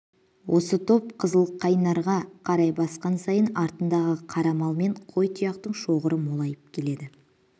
осы топ қызылқайнарға қарай басқан сайын артындағы қара мал мен қой тұяқтың шоғыры молайып келеді